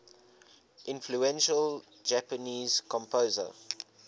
influential japanese composer